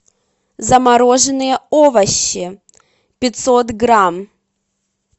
замороженные овощи пятьсот грамм